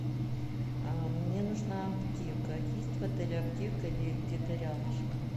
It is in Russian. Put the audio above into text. мне нужна аптека есть в отеле аптека или где то рядышком